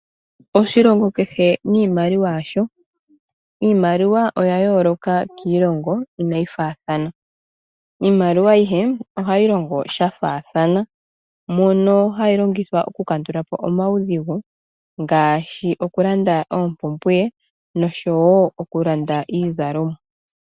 Oshilongo kehe niimaliwa yasho. Iimaliwa oya yooloka kiilongo, inaayi faathana. Iimaliwa ayihe ohayi longo sha faathana, mono hayi longithwa okukandulapo omaudhigu, ngaashi; okulanda oompumbwe noshowo okulanda iizalomwa.